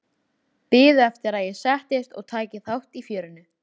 Biðu eftir að ég settist og tæki þátt í fjörinu.